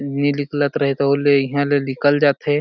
नी निकलत रहे तो ले इहा ले निकल जाथे।